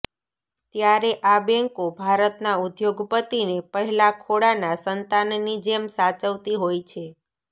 ત્યારે આ બેન્કો ભારતના ઉદ્યોગપતિને પહેલા ખોળાના સંતાનની જેમ સાચવતી હોય છે